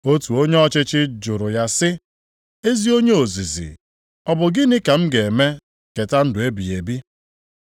Otu onye ọchịchị jụrụ ya sị, “Ezi onye ozizi, ọ bụ gịnị ka m ga-eme keta ndụ ebighị ebi.”